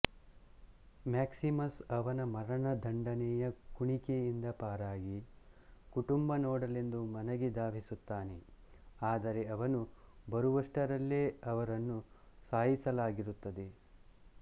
Maximus ಅವನ ಮರಣದಂಡನೆಯ ಕುಣಿಕೆಯಿಂದ ಪಾರಾಗಿ ಕುಟುಂಬ ನೋಡಲೆಂದು ಮನೆಗೆ ಧಾವಿಸುತ್ತಾನೆ ಆದರೆ ಅವನು ಬರುವಷ್ಟರಲ್ಲೇ ಅವರನ್ನು ಸಾಯಿಸಲಾಗಿರುತ್ತದೆ